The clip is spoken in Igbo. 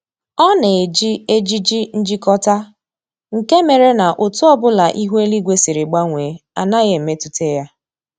Ọ na-eji ejiji njikọta, nke mere na otu ọbụla ihu eluigwe siri gbanwee anaghị emetụta ya